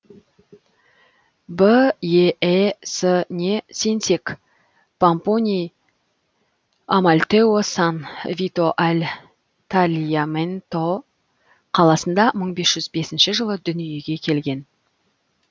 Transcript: беэс не сенсек помпоний амальтео сан вито аль тальяменто қаласында мың бес жүз бесінші жылы дүниеге келді